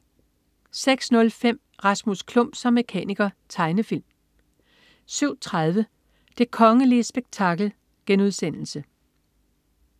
06.05 Rasmus Klump som mekaniker. Tegnefilm 07.30 Det kongelige spektakel*